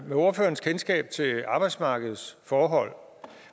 med ordførerens kendskab til arbejdsmarkedets forhold